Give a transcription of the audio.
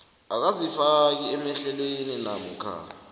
akazifaki emahlelweni namkha